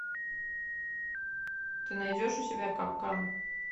ты найдешь у себя капкан